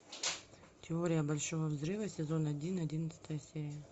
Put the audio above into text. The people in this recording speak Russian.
теория большого взрыва сезон один одиннадцатая серия